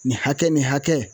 Nin hakɛ nin hakɛ